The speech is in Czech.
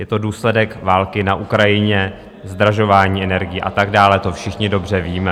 Je to důsledek války na Ukrajině, zdražování energií a tak dále, to všichni dobře víme.